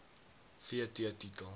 v t titel